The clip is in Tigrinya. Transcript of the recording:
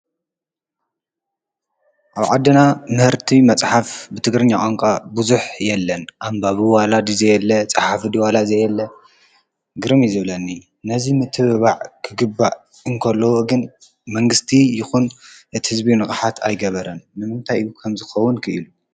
አብ ዓድና ምህርቲ መፅሓፍ ቋንቋ ትግርኛ ብዙሕ የለን አምባቢ ድዪ ዋላ ፀሓፊ ዘየለ ግርም እዪ ዝብለኒ መንግስቲ ዉን ንቅሓት አይገበረን ንምንታይ ከምዚ ክከዉን ክኢሉ?